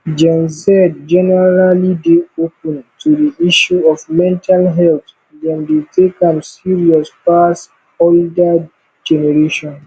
gen z generally dey open to di issue of mental health dem dey take am serious pass older generation